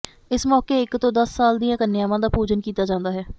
ਇਸ ਮੌਕੇ ਇਕ ਤੋਂ ਦੱਸ ਸਾਲ ਦੀਆਂ ਕੰਨਿਆਵਾਂ ਦਾ ਪੂਜਨ ਕੀਤਾ ਜਾਂਦਾ ਹੈ